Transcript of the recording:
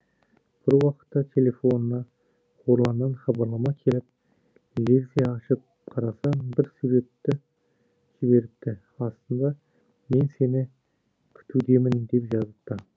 бір уақытта телефонына қорланнан хабарлама келіп лезде ашып қараса бір суретті жіберіпті астында мен сені күтудемін деп жазыпты